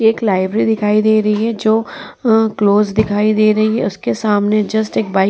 एक लाइब्रेरी दिखाई दे रही है जो अ क्लोज दिखाई दे रही हैं उसके सामने जस्ट एक बाइक --